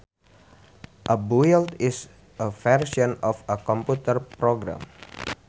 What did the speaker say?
A build is a version of a computer program